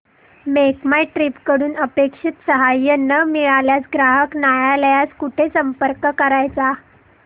make My Trip कडून अपेक्षित सहाय्य न मिळाल्यास ग्राहक न्यायालयास कुठे संपर्क करायचा